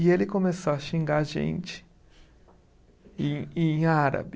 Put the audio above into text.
E ele começou a xingar a gente em em árabe.